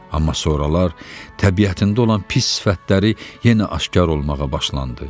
Amma sonralar təbiətində olan pis sifətləri yenə aşkar olmağa başlandı.